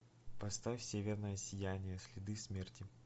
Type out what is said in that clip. поставь северное сияние следы смерти